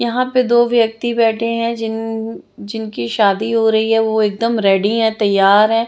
यहाँ पर दो व्यक्ति बेठे है जिन जिन की शादी हो रही है वो एक दम रेडी हैं तैयार हैं।